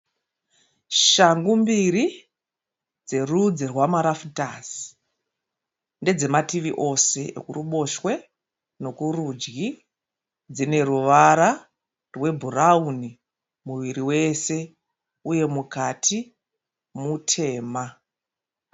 Shangu mbiri dzerudzi rwamarafutazi ndedze mativi ose ruboshwe nekurudyi dzine ruvara rwebhurauni muviri wese uye mukati mutema.